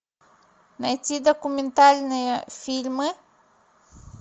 найти документальные фильмы